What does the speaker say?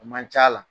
O man c'a la